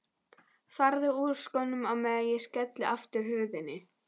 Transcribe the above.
Farðu úr skónum á meðan ég skelli aftur hurðinni.